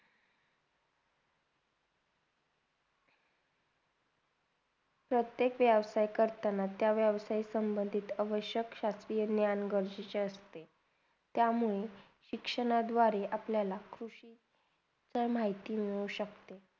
प्रतेक व्यवसही करताना, त्या व्यवस सम्भंडीत आवश्यक शासत्रिय ज्ञान गरजेचं असते त्यामुळे शिक्षण दुवारे अपल्याला कृषी तर माहिती मिळु शक्ते